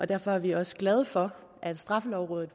derfor er vi også glade for at straffelovrådet